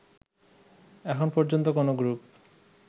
এখন পর্যন্ত কোনো গ্রুপ